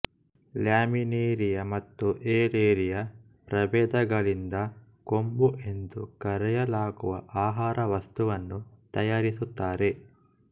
Laminaria ಮತ್ತು Alaria ಪ್ರಭೇದಗಳಿಂದ ಕೊಂಬು ಎಂದು ಕರೆಯಲಾಗುವ ಆಹಾರ ವಸ್ತುವನ್ನು ತಯಾರಿಸುತ್ತಾರೆ